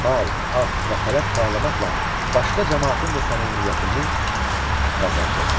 Mal, at və xələt paylamaqla başqa camaatın da səmimiyyətini qazandı.